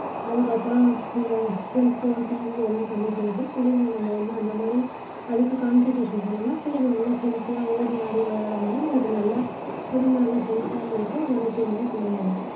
அதுக்கப்புறம் இந்த cell phone TV அதெல்லாம் கம்மி பண்ணிட்டு புள்ளைங்களை நாம வந்து அந்த மாதிரி அதுக்கு concentration பண்ணினோம்னா புள்ளைங்க நல்லா healthy யா ஓடியாடி விளையாடும் போது நம்மளுக்கு நல்லா உடம்பு நல்ல health ஆவும் இருக்கும். ஆரோக்கியமாவும் புள்ளைங்க இருக்கும்.